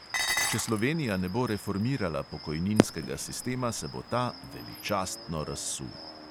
Če slovenija ne bo reformirala pokojninskega sistema, se bo ta veličastno razsul.